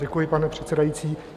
Děkuji, pane předsedající.